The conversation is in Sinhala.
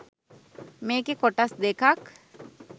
මේකෙ කොටස් දෙකක්